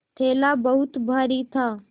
थैला बहुत भारी था